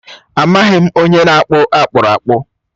Amaghị m onye na-akpụ akpụrakpụ.